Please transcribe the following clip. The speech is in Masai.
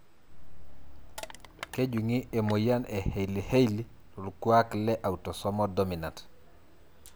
Kejungi emoyian e Hailey Hailey tokuak le autosomal dominant.